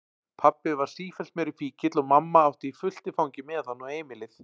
Pabbi varð sífellt meiri fíkill og mamma átti fullt í fangi með hann og heimilið.